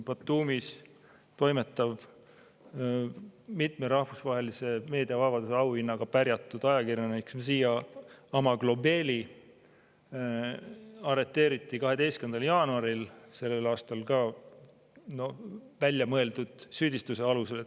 Batumis toimetav, mitme rahvusvahelise meediavabaduse auhinnaga pärjatud ajakirjanik Mzia Amaglobeli arreteeriti 12. jaanuaril sellel aastal väljamõeldud süüdistuse alusel.